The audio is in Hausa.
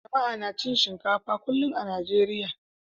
Jama'a na cin shinkafa kullum a Najeriya.